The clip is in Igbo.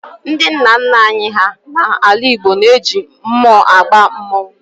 Ndị nna nna anyị hà n'ala Igbo na-eji mmụọ agba mmọnwụ